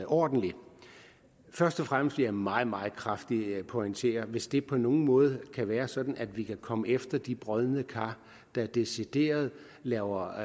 ordentligt først og fremmest vil jeg meget meget kraftigt pointere at hvis det på nogen måde kan være sådan at vi kan komme efter de brodne kar der decideret laver